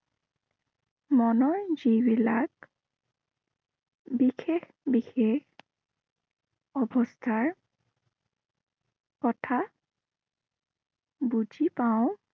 মনৰ যিবিলাক বিশেষ বিশেষ অৱস্থাৰ কথা বুজি পাওঁ।